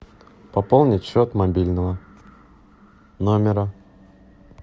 пополнить счет мобильного номера